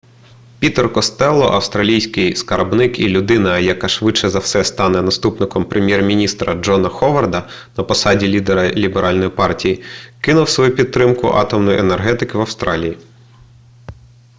пітер костелло австралійський скарбник і людина яка швидше за все стане наступником прем'єр-міністра джона ховарда на посаді лідера ліберальної партії кинув свою підтримку атомної енергетики в австралії